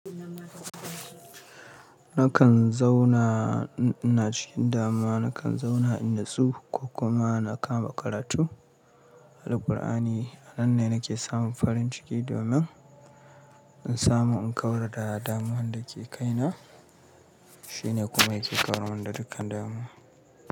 Nakan zauna ina cikin dama, nakan zauna in natsu ko kuma na kama karatu da Ƙur'ani. Anan ne nake samun farin ciki domin in samu in kawar da damuwar da ke kaina. Shine kuma yake kawar mun da dukkan dama.